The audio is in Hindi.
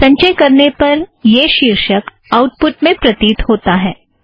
संचय करने पर यह शीर्षक आउटपुट में प्रतीत होता है